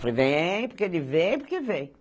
Fui, vem, porque ele vem, porque vem.